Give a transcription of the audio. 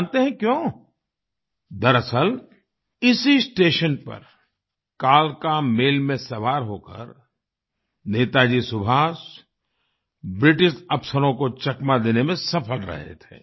जानते है क्यों दरअसल इसी स्टेशन पर कालका मेल में सवार होकर नेताजी सुभाष ब्रिटिश अफसरों को चकमा देने में सफल रहे थे